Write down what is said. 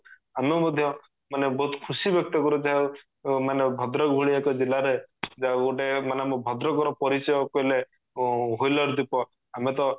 ଆମେ ମଧ୍ୟ ମାନେ ବହୁତ ଖୁସି ବ୍ୟକ୍ତ କରୁ ଯାହା ମାନେ ଭଦ୍ରକ ଭଳିଆ ଏକ ଜିଲ୍ଲା ରେ ଯା ହାଉ ଗୋଟେ ମାନେ ଆମ ଭଦ୍ରକ ର ପରିଚୟ କହିଲେ wheeler ଦ୍ଵିପ ଆମେ ତ